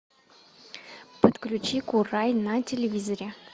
подключи курай на телевизоре